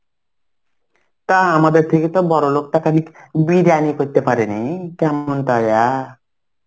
তা আমাদের থেকে তো বড় লোকটাকে বিরিয়ানি করতে পারেনি. কেমন তারা?